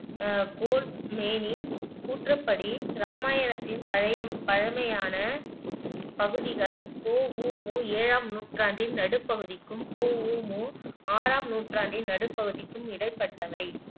அஹ் கோல்ட்மேனின் கூற்றுப்படி ராமாயணத்தின் பழய பழமையான பகுதிகள் பொ ஊ மு ஏழாம் நூற்றாண்டின் நடுப்பகுதிக்கும் பொ ஊ மு ஆறாம் நூற்றாண்டின் நடுப்பகுதிக்கும் இடைப்பட்டவை